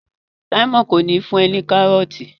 Simon kò ní fún e ní karọọti.